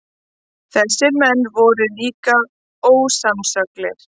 Þessir menn voru líka ósannsöglir.